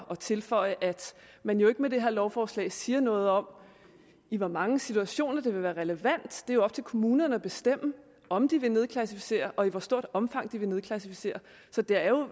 at tilføje at man jo ikke med det her lovforslag siger noget om i hvor mange situationer det vil være relevant det er jo op til kommunerne at bestemme om de vil nedklassificere og i hvor stort omfang de vil klassificere så det er jo